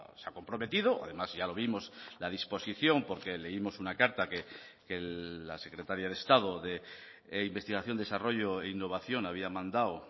se ha comprometido además ya lo vimos la disposición porque leímos una carta que la secretaria de estado de investigación desarrollo e innovación había mandado